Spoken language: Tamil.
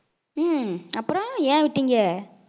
ஹம் அப்புறம் ஏன் விட்டீங்க